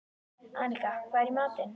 Annika, hvað er í matinn?